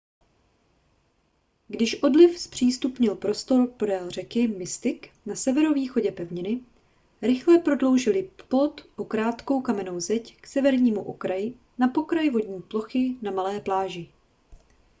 když odliv zpřístupnil prostor podél řeky mystic na severovýchodě pevniny rychle prodloužili plot o krátkou kamennou zeď k severnímu okraji na pokraj vodní plochy na malé pláži